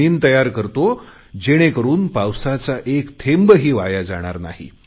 जमीन तयार करतो जेणेकरुन पावसाचा एक थेंबही वाया जाणार नाही